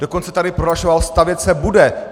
Dokonce tady prohlašoval - stavět se bude.